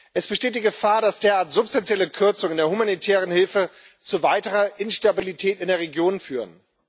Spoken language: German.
Es besteht die Gefahr, dass derart substanzielle Kürzungen der humanitären Hilfe zu weiterer Instabilität in der Region führen.